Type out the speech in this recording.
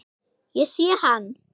Ég sé hann.